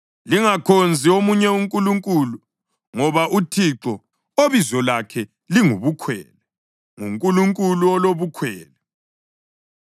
Lingakhonzi omunye unkulunkulu, ngoba uThixo, obizo lakhe linguBukhwele, nguNkulunkulu olobukhwele.